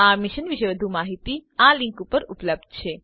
આ મિશન વિશે વધુ જાણકારી httpspoken tutorialorgNMEICT Intro આ લીંક ઉપર ઉપલબ્ધ છે